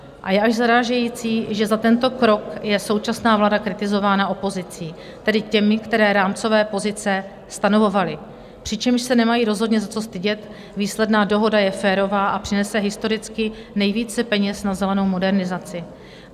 A je až zarážející, že za tento krok je současná vláda kritizována opozicí, tedy těmi, kteří rámcové pozice stanovovali, přičemž se nemají rozhodně za co stydět, výsledná dohoda je férová a přinese historicky nejvíce peněz na zelenou modernizaci.